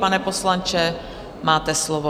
Pane poslanče, máte slovo.